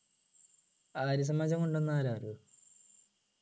ആര്യസമാജം കൊണ്ടുവന്നത് ആരാണെന്ന് അറിയോ